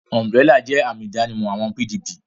Umburélà jẹ́ àmì ìdánimọ̀ àwọn PDP